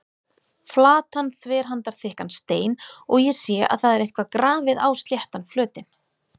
Flatan þverhandarþykkan stein og ég sé að það er eitthvað grafið á sléttan flötinn.